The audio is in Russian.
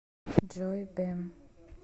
джой биэм